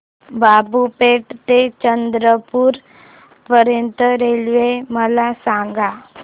बाबूपेठ ते चंद्रपूर पर्यंत रेल्वे मला सांगा